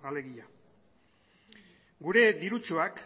alegia gure dirutsuak